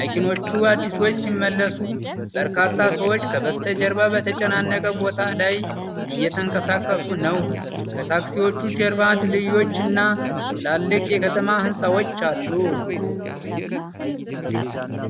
መኪኖቹ አዲሶች ሲመስሉ፣ በርካታ ሰዎች ከበስተጀርባ በተጨናነቀ ቦታ ላይ እየተንቀሳቀሱ ነው። ከታክሲዎቹ ጀርባ ድልድዮች እና ትላልቅ የከተማ ሕንፃዎች አሉ።